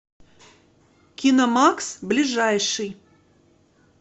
киномакс ближайший